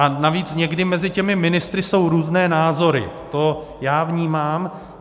A navíc někdy mezi těmi ministry jsou různé názory, to já vnímám.